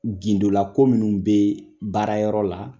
Gindola ko minnu be baarayɔrɔ la